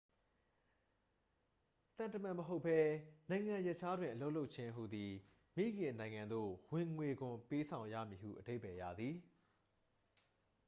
သံတမန်မဟုတ်ဘဲ နိုင်ငံရပ်ခြားတွင် အလုပ်လုပ်ခြင်းဟူသည် မိခင်နိုင်ငံသို့ ဝင်ငွေခွန်ပေးဆောင်ရမည်ဟု အဓိပ္ပာယ်ရသည်